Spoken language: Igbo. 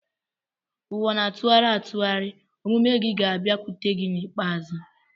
Ụwa na-atụgharị atụgharị; omume gị ga-abịakwute gị n'ikpeazụ.